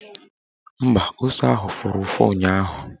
Mba, ose ahụ fụrụ ụfụ ụnyaahụ